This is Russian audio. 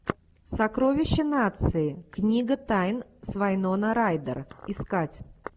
сокровища нации книга тайн с вайнона райдер искать